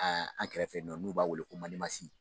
an kɛrɛfɛ yen nɔ n'o b'a wele ko Mandemasi